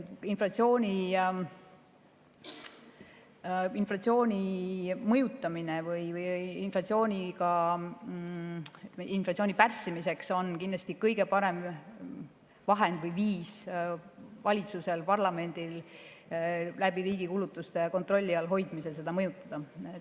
Inflatsiooni mõjutamiseks või inflatsiooni pärssimiseks on kindlasti kõige parem vahend või viis valitsusel ja parlamendil hoida riigi kulutused kontrolli all.